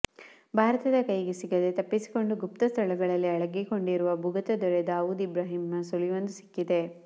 ಭಾರತದ ಕೈಗೆ ಸಿಗದೇ ತಪ್ಪಿಸಿಕೊಂಡು ಗುಪ್ತಸ್ಥಳಗಳಲ್ಲಿ ಅಡಗಿಕೊಂಡಿರುವ ಭೂಗತದೊರೆ ದಾವೂದ್ ಇಬ್ರಾಹಿಂನ ಸುಳಿವೊಂದು ಸಿಕ್ಕಿದೆ